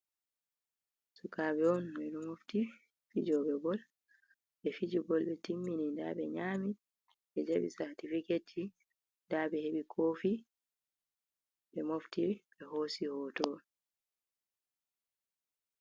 Sukaɓe on be do mofti, fijobe bol befije bol ɓe timmini daaɓe nyami ɓe jaaɓe saatificat daabe heɓi kofi, be mofti ɓe hoosi hooto.